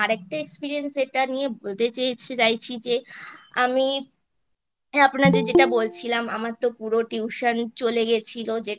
আরেকটা Experience যেটা নিয়ে বলতে চাইছি যে আমি আপনাদের যেটা বলছিলাম আমারতো পুরো Tuition চলে গেছিলো